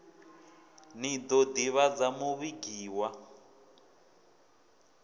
ḽi ḓo ḓivhadza muvhigi wa